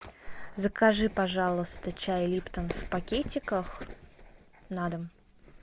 закажи пожалуйста чай липтон в пакетиках на дом